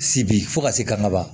Sibi fo ka se kaba